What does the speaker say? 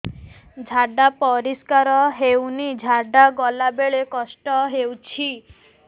ଝାଡା ପରିସ୍କାର ହେଉନି ଝାଡ଼ା ଗଲା ବେଳେ କଷ୍ଟ ହେଉଚି